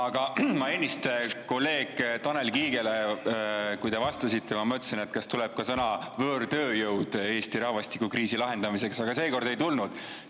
Aga ma ennist kolleeg Tanel Kiigele ütlesin, et kui te vastasite, siis ma mõtlesin, et huvitav, kas tuleb ka sõna "võõrtööjõud" Eesti rahvastikukriisi lahendamiseks, aga seekord ei tulnud.